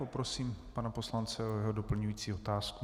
Poprosím pana poslance o jeho doplňující otázku.